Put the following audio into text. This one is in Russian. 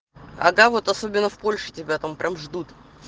а да вот особенно в польше тебя там прям ждут